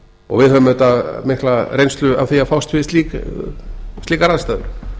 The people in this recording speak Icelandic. og við höfum auðvitað mikla reynslu af því að fást við slíkar aðstæður